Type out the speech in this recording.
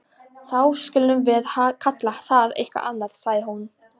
Þá skulum við kalla það eitthvað annað sagði hún.